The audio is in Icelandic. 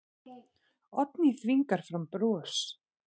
Oddný þvingar fram bros.